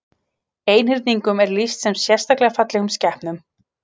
Einhyrningum er lýst sem sérstaklega fallegum skepnum.